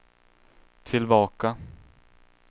tillbaka